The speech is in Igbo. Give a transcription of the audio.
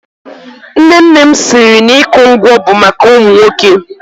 Nne nne m siri na ịkụ ngwọ bụ maka ụmụ nwoke.